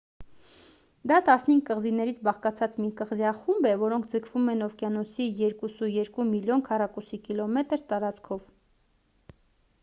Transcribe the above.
դա 15 կղզիներից բաղկացած մի կղզիախումբ է որոնք ձգվում են օվկիանոսի 2,2 միլիոն քառ կմ տարածքով